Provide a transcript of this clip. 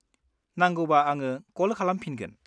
नांगौबा आङो कल खालामफिनगोन।